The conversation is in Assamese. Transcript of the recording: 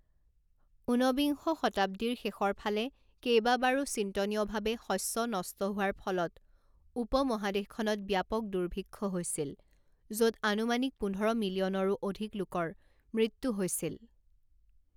উনবিংশ শতাব্দীৰ শেষৰফালে কেইবাবাৰো চিন্তনীয়ভাৱে শস্য নষ্ট হোৱাৰ ফলত উপমহাদেশখনত ব্যাপক দুৰ্ভিক্ষ হৈছিল, য'ত আনুমানিক পোন্ধৰ মিলিয়নৰো অধিক লোকৰ মৃত্যু হৈছিল।